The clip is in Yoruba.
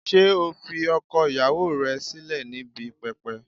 Ṣé ó fi ọkọ ìyàwó rẹ̀ sílẹ̀ níbi pẹpẹ?